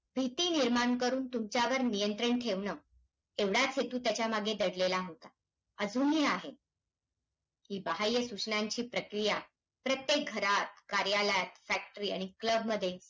भीती निर्माण करून तुमच्यावर नियंत्रण ठेवणं, एवढाच हेतू त्याच्यामागे दडलेला असणार. अजूनही आहे. हि बहाय्य सूचनांची प्रक्रिया, प्रत्येक घरात, कार्यालयात, factory आणि club मध्ये,